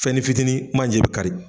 Fɛnni fitini manje bi kari